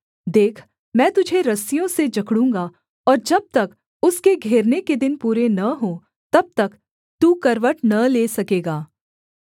देख मैं तुझे रस्सियों से जकड़ूँगा और जब तक उसके घेरने के दिन पूरे न हों तब तक तू करवट न ले सकेगा